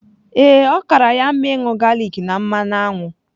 Ee, ọ kaara ya mma ịṅụ galik na mmanụ aṅụ.